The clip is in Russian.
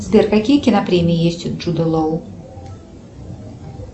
сбер какие кинопремии есть у джуда лоу